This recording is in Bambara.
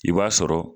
I b'a sɔrɔ